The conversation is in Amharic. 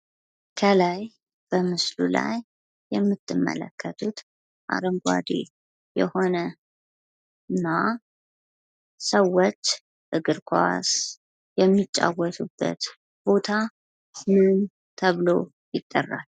ከላይ በምስሉ ላይ የምትመለከቱት አረንጓዴ የሆነ እና ሰዎች እግር ኳስ የሚጫወቱበት ቦታ ምን ተብሎ ይጠራል?